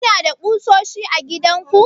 kuna da ƙusoshi a gidanku?